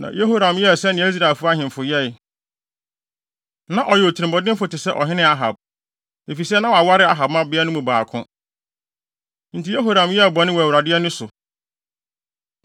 Na Yehoram yɛɛ sɛnea Israel ahemfo yɛe. Na ɔyɛ otirimɔdenfo te sɛ ɔhene Ahab, efisɛ na waware Ahab mmabea no mu baako. Enti Yehoram yɛɛ bɔne wɔ Awurade ani so.